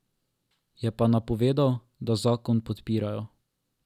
Je pa napovedal, da zakon podpirajo.